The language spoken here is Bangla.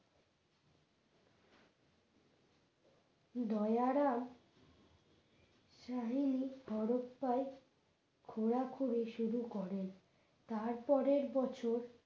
দয়া রাম হরপ্পায় খোঁড়াখুড়ি শুরু করে তারপরের বছর,